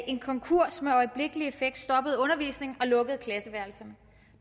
en konkurs med øjeblikkelig effekt stoppede undervisningen og lukkede klasseværelserne